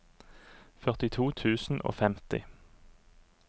førtito tusen og femti